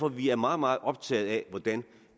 at vi er meget meget optaget af hvordan